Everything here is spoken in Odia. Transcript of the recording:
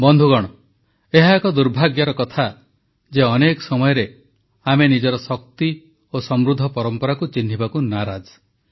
ବନ୍ଧୁଗଣ ଏହା ଏକ ଦୁର୍ଭାଗ୍ୟର କଥା ଯେ ଅନେକ ସମୟରେ ଆମେ ନିଜର ଶକ୍ତି ଓ ସମୃଦ୍ଧ ପରମ୍ପରାକୁ ଚିହ୍ନିବାକୁ ନାରାଜ